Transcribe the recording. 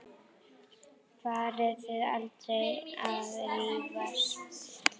Farið þið aldrei að rífast?